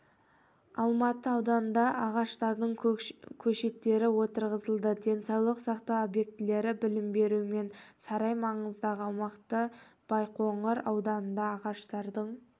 алматы ауданында ағаштардың көшеттері отырғызылды денсаулық сақтау объектілері білім беру мен сарай маңындағы аумақтарбайқоңыр ауданында ағаштардың